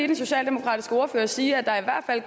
den socialdemokratiske ordfører sige at der